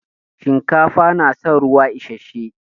Shinkafa na san ruwa isashe.